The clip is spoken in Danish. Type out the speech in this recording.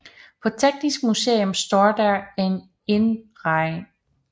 På Teknisk Museum står der en indreg